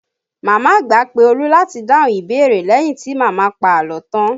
Màmá àgbà pé Olu láti dáhùn ìbéèrè leyin ti màmá pa àlọ́ tan